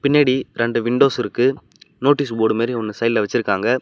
பின்னாடி ரெண்டு விண்டோஸ் இருக்கு நோட்டீஸ் போர்ட் மாறி ஒண்ணு சைடுல வச்சிருக்காங்க.